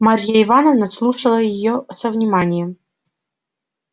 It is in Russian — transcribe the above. марья ивановна слушала её со вниманием